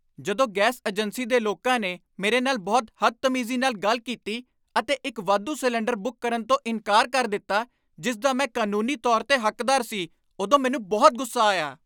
ਜਦੋਂ gas agency ਦੇ ਲੋਕਾਂ ਨੇ ਮੇਰੇ ਨਾਲ ਬਹੁਤ ਹਦਤਮੀਜ਼ੀ ਨਾਲ ਗੱਲ ਕੀਤੀ ਅਤੇ ਇੱਕ ਵਾਧੂ ਸਿਲੰਡਰ ਬੁੱਕ ਕਰਨ ਤੋਂ ਇਨਕਾਰ ਕਰ ਦਿੱਤਾ ਜਿਸ ਦਾ ਮੈਂ ਕਾਨੂੰਨੀ ਤੌਰ 'ਤੇ ਹੱਕਦਾਰ ਸੀ, ਉਦੋਂ ਮੈਨੂੰ ਬਹੁਤ ਗੁੱਸਾ ਆਇਆ ।